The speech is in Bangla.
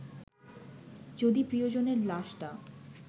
যদি প্রিয়জনের লাশটা